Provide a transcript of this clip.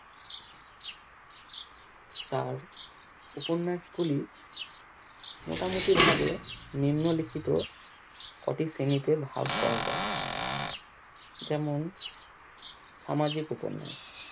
তার উপন্যাস গুলি মোটামুটি ভাবে নিম্ন লিখিত কটি শ্রেণীতে ভাগ করা যায় যেমন সামাজিক উপন্যাস